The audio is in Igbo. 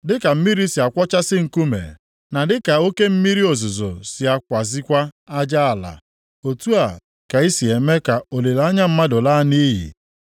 dịka mmiri si akwọchasị nkume, na dịka oke mmiri ozuzo si akwazekwa aja ala, otu a ka i si eme ka olileanya mmadụ laa nʼiyi.